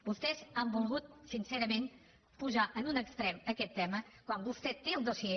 vostès han volgut sincerament posar en un extrem aquest tema quan vostè té el dossier